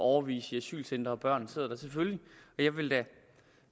årevis i asylcentre og at børn sidder der og jeg ville da